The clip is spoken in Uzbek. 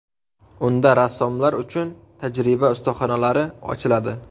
Unda rassomlar uchun tajriba ustaxonalari ochiladi.